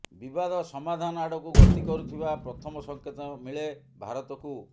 ବିବାଦ ସମାଧାନ ଆଡ଼କୁ ଗତି କରୁଥିବା ପ୍ରଥମ ସଙ୍କେତ ମିଳେ ଭାରତକୁ